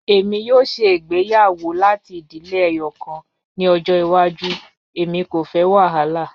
Emi yoo ṣe igbeyawo lati idile ẹyọkan ni ọjọ iwaju, emi ko fẹ wahala.